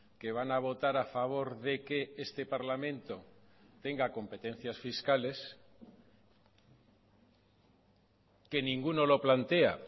que van a votar a favor de que este parlamento tenga competencias fiscales que ninguno lo plantea